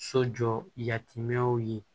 So jɔ yatimɛnw ye